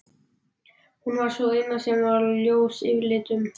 Hún var sú eina sem var ljós yfirlitum.